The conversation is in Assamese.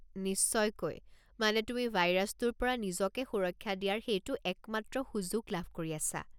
নিশ্চয়কৈ, মানে তুমি ভাইৰাছটোৰ পৰা নিজকে সুৰক্ষা দিয়াৰ সেইটো একমাত্ৰ সুযোগ লাভ কৰি আছা।